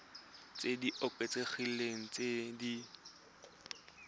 tse di oketsegileng tse di